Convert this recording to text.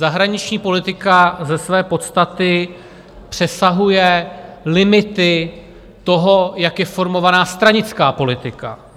Zahraniční politika ze své podstaty přesahuje limity toho, jak je formována stranická politika.